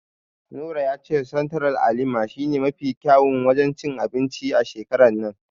Nura ya ce Sentiral a Lima shi ne mafi kyawun wajen cin anbinci a shekarar nan.